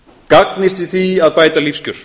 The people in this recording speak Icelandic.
gagnist í því að bæta lífskjör